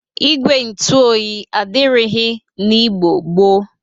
Igwe ntụ oyi adịrịghị n'Igbo gboo.